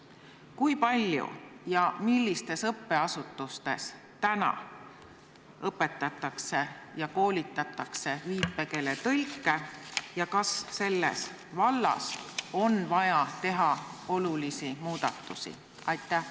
Kui palju ja millistes õppeasutustes täna õpetatakse ja koolitatakse viipekeeletõlke ja kas selles vallas on vaja teha olulisi muudatusi?